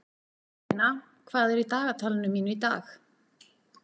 Guðmundína, hvað er í dagatalinu mínu í dag?